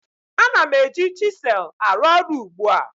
Ana m eji chisel arụ ọrụ ugbu a